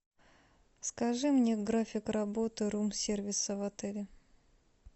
скажи мне график работы рум сервиса в отеле